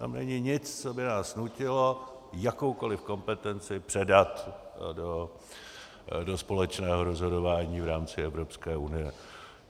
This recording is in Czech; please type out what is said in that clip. Tam není nic, co by nás nutilo jakoukoli kompetenci předat do společného rozhodování v rámci Evropské unie.